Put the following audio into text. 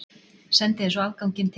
Sendi þér svo afganginn til